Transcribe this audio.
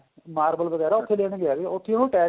marvel ਵਗੈਰਾ ਉੱਥੇ ਲੈਣ ਗਿਆ ਸੀ ਉੱਥੇ ਉਹਨੂੰ attack